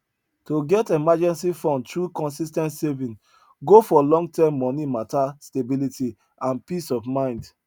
to get emergency fund through consis ten t saving go for longterm money matter stability and peace of mind